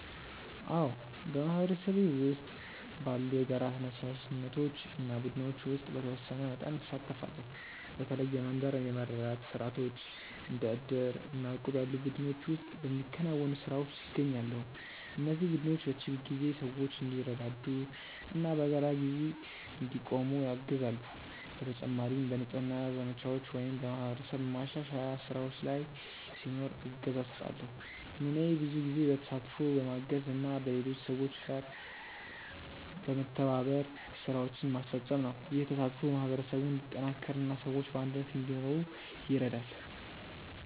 አዎ፣ በማህበረሰቤ ውስጥ ባሉ የጋራ ተነሳሽነቶች እና ቡድኖች ውስጥ በተወሰነ መጠን እሳተፋለሁ። በተለይ የመንደር የመረዳዳት ስርዓቶች እንደ ዕድር እና እቁብ ያሉ ቡድኖች ውስጥ በሚከናወኑ ስራዎች እገኛለሁ። እነዚህ ቡድኖች በችግር ጊዜ ሰዎች እንዲረዳዱ እና በጋራ እንዲቆሙ ያግዛሉ። በተጨማሪም በንጽህና ዘመቻዎች ወይም በማህበረሰብ ማሻሻያ ስራዎች ላይ ሲኖር እገዛ እሰጣለሁ። ሚናዬ ብዙ ጊዜ በተሳትፎ፣ በማገዝ እና በሌሎች ሰዎች ጋር በመተባበር ስራዎችን ማስፈጸም ነው። ይህ ተሳትፎ ማህበረሰቡን እንዲጠናከር እና ሰዎች በአንድነት እንዲኖሩ ይረዳል።